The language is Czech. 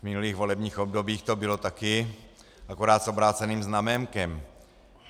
V minulých volebních obdobích to bylo také, akorát s obráceným znaménkem.